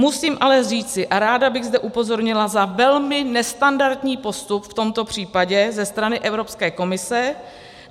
Musím ale říci, a ráda bych zde upozornila na velmi nestandardní postup v tomto případě ze strany Evropské komise.